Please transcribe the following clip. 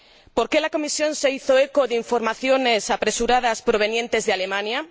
¿Por qué la Comisión se hizo eco de informaciones apresuradas provenientes de Alemania?